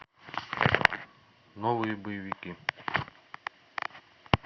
новые боевики